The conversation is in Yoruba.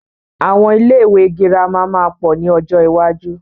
Àwọn ilé ìwé girama máa pọ̀ ni ọjọ́ iwájú.